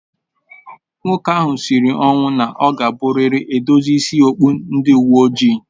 Nwoke ahụ sịrị ọnwụ na ọ ga abụ rịrị edozi ịsị okpụ ndị uwe ojii